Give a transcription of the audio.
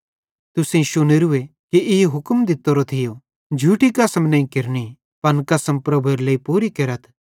तुसेईं शुनोरू कि ई हुक्म दित्तोरो थियो झूठी कसम नईं केरनि पन कसम प्रभुएरे लेइ पूरी केरथ